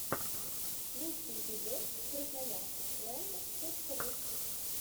лучший эпизод красноярск лэнд точка ру